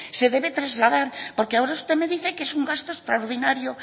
se debe trasladar porque ahora usted me dice que es un gasto extraordinario